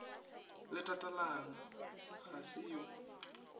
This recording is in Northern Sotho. le tatalona ga se yo